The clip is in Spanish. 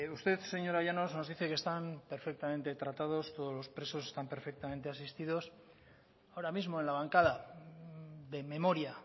usted señora llanos nos dice que están perfectamente tratados todos los presos están perfectamente asistidos ahora mismo en la bancada de memoria